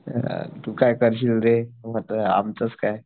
तू काय करशील रे आमचंच काय